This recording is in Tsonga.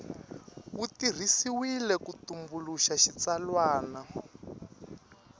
wu tirhisiwile ku tumbuluxa xitsalwana